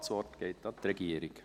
Das Wort geht an die Regierung.